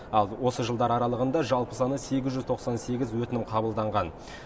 ал осы жылдар аралығында жалпы саны сегіз жүз тоқсан сегіз өтінім қабылданған